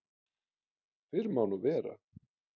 Fyrr má nú vera!